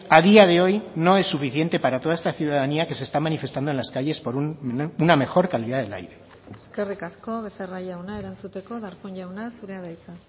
a día de hoy no es suficiente para toda esta ciudadanía que se está manifestando en las calles por una mejor calidad del aire eskerrik asko becerra jauna erantzuteko darpón jauna zurea da hitza